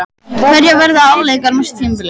Hverjar verða afleiðingarnar á næsta tímabili?